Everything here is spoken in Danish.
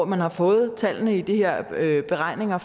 man har fået tallene i de her beregninger